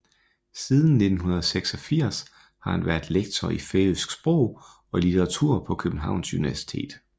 Siden 1986 har han været lektor i færøsk sprog og litteratur på Københavns Universitet